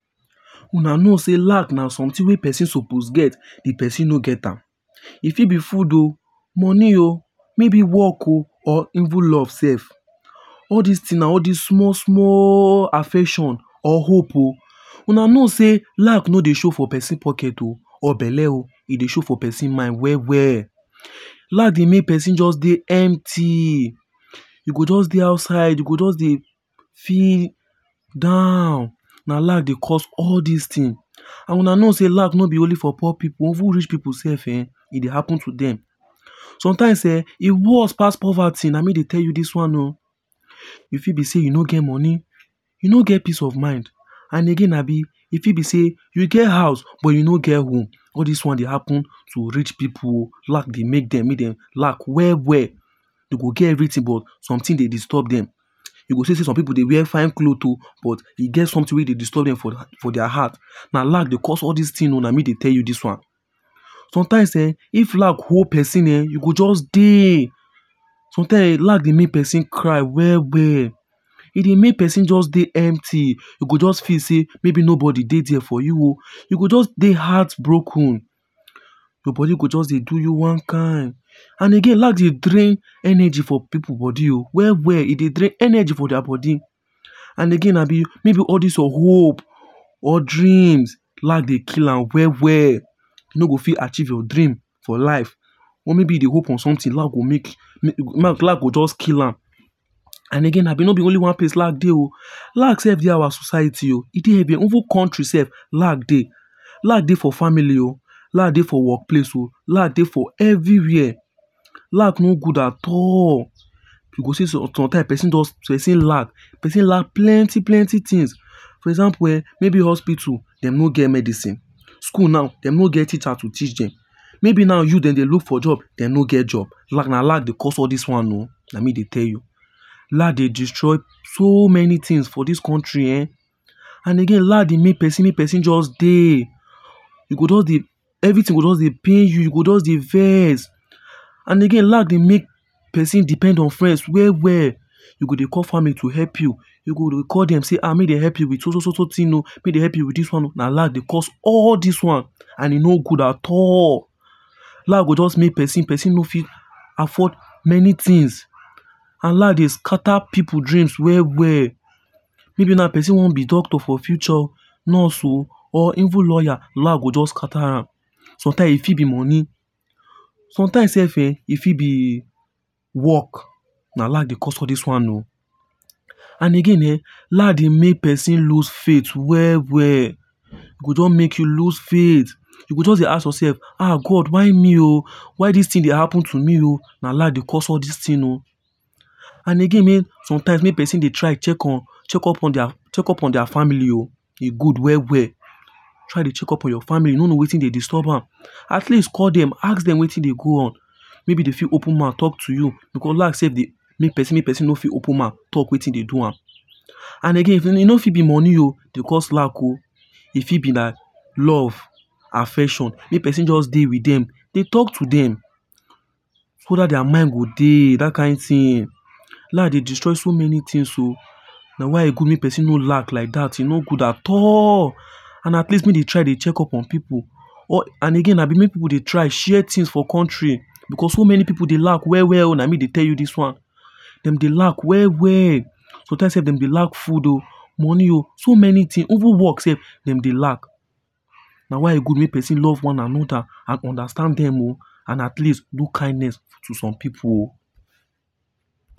Una know sey lack na something wey person suppose get di person no get am; e fit be food oh money oh maybe work oh or even love self. All this things na all this small small affection or hope oh. Una know sey lack no dey show for person pocket oh or belle oh. E dey show for person mind well well. Lack dey make person mind just dey empty, you go just dey outside you go just dey feel down Na lack dey cause all these thing and Una know sey lack no be for only poor pipu even rich pipu self um e dey happen to dem. Sometimes um e worst pass poverty na me dey tell you this one oh. E fit be say you no get money, you no get peace of mind and again abi, e fit be sey you get house but you no get work. All this one dey happen to rich pipu oh. Lack dey make dem make dem lack well well. Dem go get everything, but something dey disturb dem. You go see sey some pipu dey wear fine clothes oh but e get something wey dey disturb dem for their heart. Na lack dey cause all these things oh, na me dey tell you this one. Sometimes um if lack hold person um you go just dey sometimes lack dey make person cry well well. E dey make person just dey empty. E go just feel sey maybe no body dey there for you oh. E go just dey heart broken. Your body go just dey do you one kind and again lack dey drain energy for pipu body oh well well. E dey drain energy for their body and again abi maybe all this your hope or dreams lack dey kill a well well. You no go fit achieve your dream for life or maybe you dey hope on something lack go just kill am. And again Abi no be only one place lack dey oh. Lack self dey our society oh. E dey everywhere even country self lack dey. Lack dey for family oh lack dey work place oh, lack dey for everywhere. Lack no good at all. You go see sometimes person lack, person lack plenty plenty things. For example um maybe hospital dem no get medicine, school na dem no get teacher to teach dem. Maybe now youth dem dey look for job dem no get job. Lack dey cause all this one oh. Na me dey tell you. Lack dey destroy so many things for this country um And again lack dey make person, make person just dey. E go just dey everything go just dey pain you. You go dey vex and again lack dey make person depend on friends well well. You go dey call family to help you. You go dey call dem make dem help you with so so and so thing oh make dem help you with this one oh na lack dey cause all this one. And e no good at all. Lack go just make person person no fit afford many things. And lack dey scatter people dreams well well. Maybe now person one be doctor nurse oh or even lawyer, lack go just scatter am. Sometimes e fit be money. Sometimes slf um e fit be work, na lack dey cause all this one oh. As again um lack dey make person lose faith well well. E go just make you lose faith you go just dey ask yourself um God why me oh. Why this things dey happen to me um na lack dey cause all these things oh. And again um sometimes make person dey try dey check up on tier family oh e good well well. Try dey check up on your family you no know wetin dey disturb am At least call them ask dem wetin dey go on. Maybe dey fit open mouth talk to you because lack self dey make person make person no dey fit open mouth talk wetin dey do am. And again, e not fit be money oh dey cause lack oh. E fit be na love, affection; make person just dey with dem dey talk to dem so that their mind go dey that kind thing lack dey destroy so many things oh na why e good make person no lack like that. no good at all. And at least make dey try dey check up on pipu. And again make pipu dey try dey share things for country because so many pipu dey lack well well. Na me dey tell you this one. Dem dey lack well well. Sometimes self dem dey lack food oh, money oh, so many things even work self dem dey lack. Na why e good make person love one another. And understand dem oh and at least do kindness to some pipu oh.